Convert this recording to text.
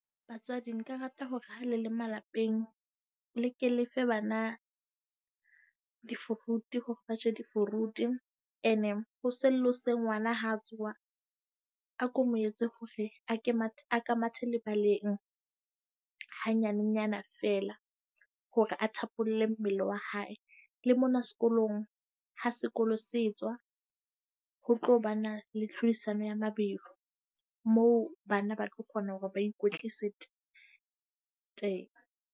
Batswadi nka rata hore ha le le malapeng le ke lefe bana di-fruit, hore ba je di-fruit. Ene hoseng le hoseng ha ngwana ha tsoha a ko mo etse hore a ka mathe lebaleng ha nyanenyana feela hore a thapolle mmele wa hae. Le mona sekolong, ha sekolo se etswa ho tlo ba na le tlhodisano ya mabelo, moo bana ba tlo kgona hore ba ikwetlisa teng.